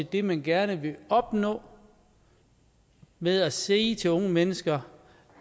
det man gerne vil opnå ved at sige til unge mennesker